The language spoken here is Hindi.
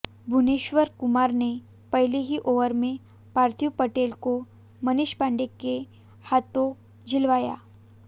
भुवनेश्वर कुमार ने पहले ही ओवर में पार्थिव पटेल को मनीष पांडे के हाथों झिलवाया